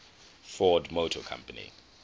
ford motor company